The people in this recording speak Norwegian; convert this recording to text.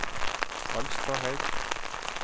Alstahaug